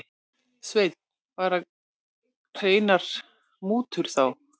Sveinn: Bara hreinar mútur þá?